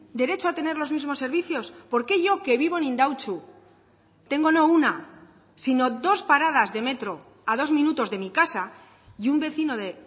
derecho a tener los mismos servicios porque yo que vivo en indautxu tengo no una sino dos paradas de metro a dos minutos de mi casa y un vecino de